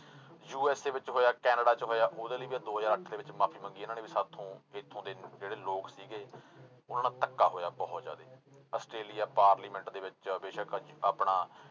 USA ਵਿੱਚ ਹੋਇਆ Canada ਚ ਹੋਇਆ, ਉਹਦੇ ਲਈ ਵੀ ਦੋ ਹਜ਼ਾਰ ਅੱਠ ਦੇ ਵਿੱਚ ਮਾਫ਼ੀ ਮੰਗੀ ਇਹਨਾਂ ਨੇ ਵੀ ਸਾਥੋਂ ਇੱਥੋਂ ਦੇ ਜਿਹੜੇ ਲੋਕ ਸੀਗੇ ਉਹਨਾਂ ਨਾਲ ਧੱਕਾ ਹੋਇਆ ਬਹੁਤ ਜ਼ਿਆਦੇ ਅਸਟ੍ਰੇਲੀਆ parliament ਦੇ ਵਿੱਚ ਬੇਸ਼ਕ ਅੱਜ ਆਪਣਾ